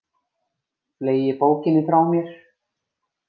Fleygi bókinni frá mér.